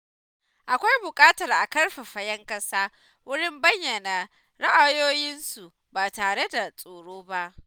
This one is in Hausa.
Akwai buƙatar a ƙarfafa ‘yan ƙasa wurin bayyana ra’ayoyinsu ba tare da tsoro ba.